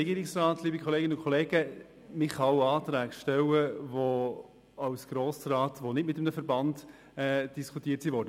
Man kann als Grossrat auch Anträge stellen, die nicht mit einem Verband diskutiert wurden.